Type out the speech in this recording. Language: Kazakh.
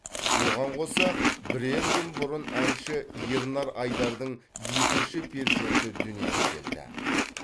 оған қоса бірер күн бұрын әнші ернар айдардың екінші перзенті дүниеге келді